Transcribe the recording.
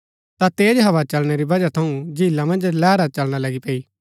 ता तेज हवा चलणै री बजह थऊँ झीला मन्ज लैहरा चलना लगी पैई